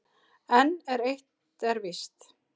En eitt er víst: